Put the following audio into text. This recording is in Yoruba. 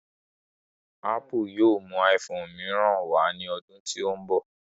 Ápù yóò mú iphone mìíràn wá ní ọdún tó ń bọ̀